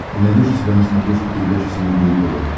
ты найдешь у себя на смотрешке передачу синергия тв